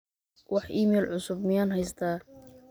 wax iimayl cusub miyaan haystaa